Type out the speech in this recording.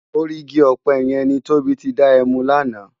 Órì igi òpè yèn ni Tobi ti dá èmú làná